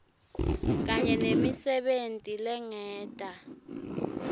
kanye nemisebenti lengeta